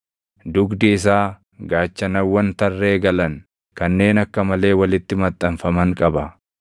Dugdi isaa gaachanawwan tarree galan, kanneen akka malee walitti maxxanfaman qaba;